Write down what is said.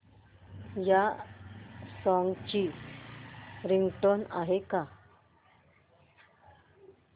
या सॉन्ग ची रिंगटोन आहे का